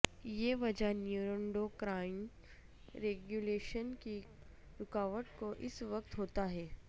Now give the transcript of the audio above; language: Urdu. یہ وجہ نیورونڈوکرائن ریگولیشن کی رکاوٹ کو اس وقت ہوتا ہے